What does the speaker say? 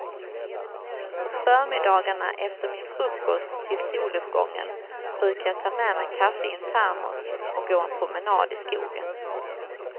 Om förmiddagarna efter min frukost till soluppgången brukar jag ta med mig kaffe i en termos och gå en promenad i skogen.